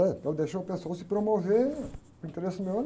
né? Então eu deixava o pessoal se promover para o interesse meu.